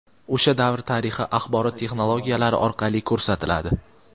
o‘sha davr tarixi axborot texnologiyalari orqali ko‘rsatiladi.